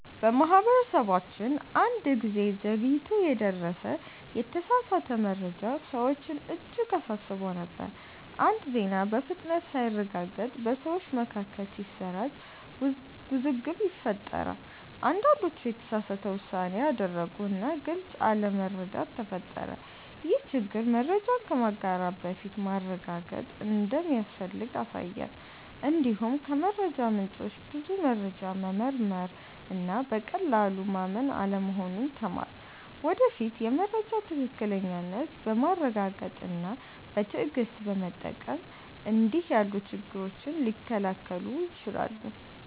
በማህበረሰባችን አንድ ጊዜ ዘግይቶ የደረሰ የተሳሳተ መረጃ ሰዎችን እጅግ አሳስቦ ነበር። አንድ ዜና በፍጥነት ሳይረጋገጥ በሰዎች መካከል ሲሰራጭ ውዝግብ ፈጠረ። አንዳንዶች የተሳሳተ ውሳኔ አደረጉ እና ግልጽ አለመረዳት ተፈጠረ። ይህ ችግር መረጃን ከማጋራት በፊት ማረጋገጥ እንደሚያስፈልግ አሳየን። እንዲሁም ከመረጃ ምንጮች ብዙ መረጃ መመርመር እና በቀላሉ ማመን አለመሆኑን ተማርን። ወደፊት የመረጃ ትክክለኛነትን በማረጋገጥ እና በትዕግሥት በመጠበቅ እንዲህ ያሉ ችግሮች ሊከላከሉ ይችላሉ።